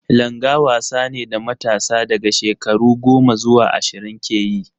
Langa wasa ne da matasa daga shekaru goma zuwa ashirin ke yi.